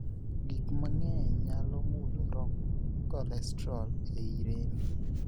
Gik mang'eny nyalo mulo romb kolestrol ei rembi.